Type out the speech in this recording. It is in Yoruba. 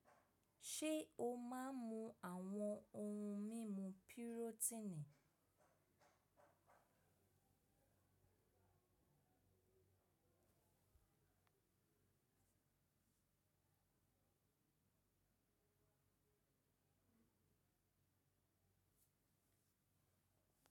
Ṣé o máa ń mu àwọn ohun mímu pirotini?